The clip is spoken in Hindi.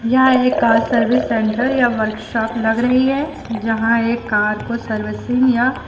यह एक कार सर्विस सेंटर या वर्कशॉप लग रही है जहां एक कार को सर्विसिंग या--